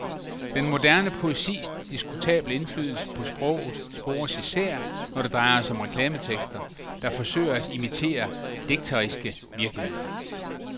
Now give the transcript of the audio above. Den moderne poesis diskutable indflydelse på sproget spores især, når det drejer sig om reklametekster, der forsøger at imitere digteriske virkemidler.